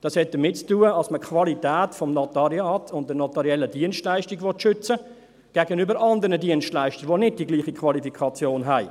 – Das hat damit zu tun, dass man die Qualität des Notariats und der notariellen Dienstleistungen gegenüber anderen Dienstleistern schützen möchte, die nicht die gleiche Qualifikation haben.